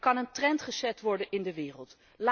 Er kan een trend gezet worden in de wereld.